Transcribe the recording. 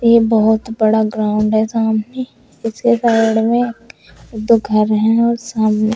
ये बहोत बड़ा ग्राउंड है सामने इसके साइड में दो घर हैं और सामने--